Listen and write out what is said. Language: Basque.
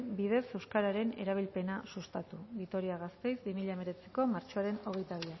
bidez euskararen erabilpena sustatu vitoria gasteiz bi mila hemeretzi martxoaren hogeita bian